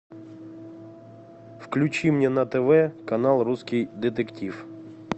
включи мне на тв канал русский детектив